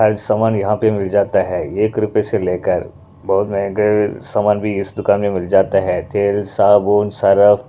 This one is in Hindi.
हर सामान यहाँ पे मिल जाता है एक रुपए से लेकर बहुत महंगे सामान भी इस दुकान में मिल जाता है तेल साबुन सरफ --